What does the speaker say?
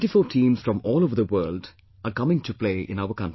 Twentyfour teams from all over the world are coming to play in our country